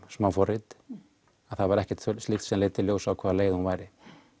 smáforrit en það var ekkert slíkt sem leiddi í ljós á hvaða leið hún væri